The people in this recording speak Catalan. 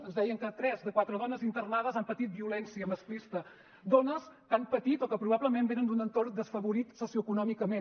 ens deien que tres de quatre dones internades han patit violència masclista dones que han patit o que probablement venen d’un entorn desafavorit socioeconòmicament